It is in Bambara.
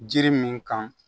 Jiri min kan